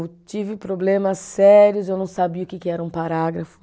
Tive problemas sérios, eu não sabia o que que era um parágrafo.